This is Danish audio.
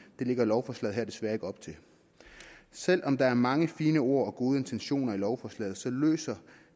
det lægger lovforslaget her desværre ikke op til selv om der er mange fine ord og gode intentioner i lovforslaget løser